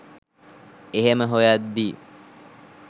එහෙම හොයද්දී